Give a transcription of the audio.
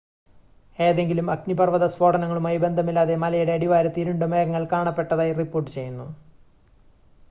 ഏതെങ്കിലും അഗ്നിപർവ്വത സ്ഫോടനങ്ങളുമായി ബന്ധമില്ലാതെ മലയുടെ അടിവാരത്ത് ഇരുണ്ട മേഘങ്ങൾ കാണപ്പെട്ടതായി റിപ്പോർട്ട് ചെയ്യുന്നു